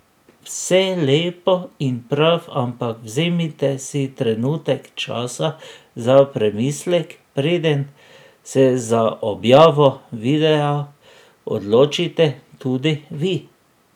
Vse lepo in prav, ampak vzemite si trenutek časa za premislek preden se za objavo videa odločite tudi vi.